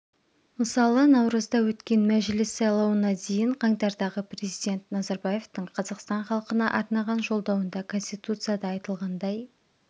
мысалы наурызда өткен мәжіліс сайлауына дейін қаңтардағы президент назарбаевтың қазақстан халқына арнаған жолдауында конституцияда айтылғандай